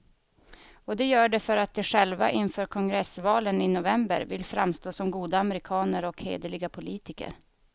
Och de gör det för att de själva inför kongressvalen i november vill framstå som goda amerikaner och hederliga politiker.